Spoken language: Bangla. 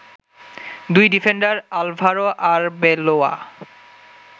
দুই ডিফেন্ডার আলভারো আরবেলোয়া